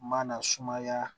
Mana sumaya